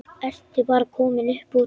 Ertu bara komin upp úr?